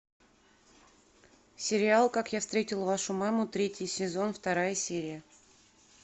сериал как я встретил вашу маму третий сезон вторая серия